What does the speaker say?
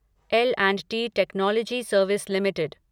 L and T technology service limited